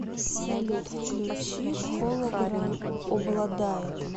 салют включи холограм обладает